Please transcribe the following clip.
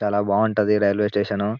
చాలా బాగుంటది railway station .